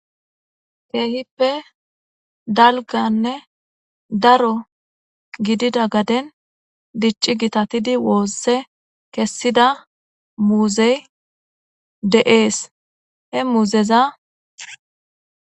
Keehippe dalganne daro giddida gadden dicci gitatidi woosse kessiza muuzey de'ees. He muuzeza miiththara teqqides.